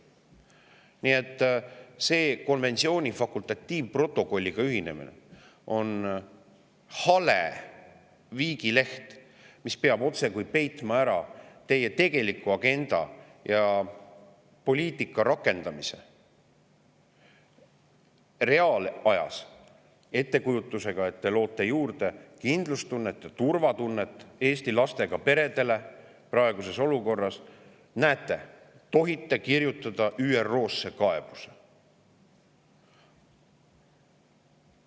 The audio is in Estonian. Nii et see konventsiooni fakultatiivprotokolliga ühinemine on hale viigileht, mis peab otsekui ära peitma teie tegeliku agenda ja poliitika rakendamise reaalajas, ettekujutusega, et te loote praeguses olukorras Eesti lastega peredele juurde kindlus- ja turvatunnet – näete, te tohite kirjutada ÜRO-le kaebuse!